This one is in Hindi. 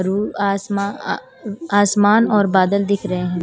रु आसमा आसमान और बादल दिख रहें हैं।